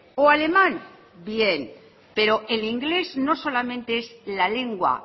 o alemán bien pero el inglés no solamente es la lengua